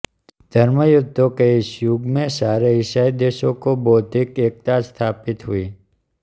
धर्मयुद्धों के इस युग में सारे ईसाई देशों को बौद्धिक एकता स्थापित हुई